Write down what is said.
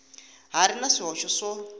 ha ri na swihoxo swo